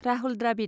Rahul Dravid